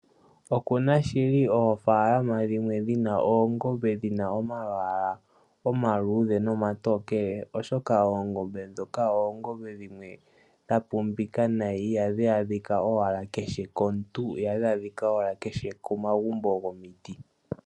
Okuna shili oofaalama dhimwe dhina oongombe , dhina omalwaala omaluudhe nomatokele, oshoka oongombe ndhono odha pumba nayi. Ihadhi kehe komuntu nokomagumbo gomiti.